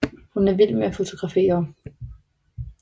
Hun er vild med at fotografere